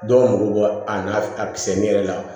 Dɔw mako bɔ a n'a a misɛnni yɛrɛ la